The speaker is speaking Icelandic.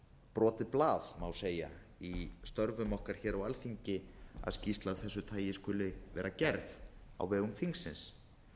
brotið blað má segja í störfum okkar á alþingi að skýrsla af þessu tagi skuli vera gerð á vegum þingsins